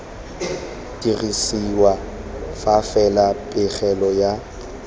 dirisiwa fa fela pegelo ya